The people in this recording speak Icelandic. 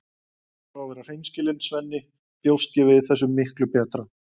Ef ég á að vera hreinskilin, Svenni, bjóst ég við þessu miklu betra.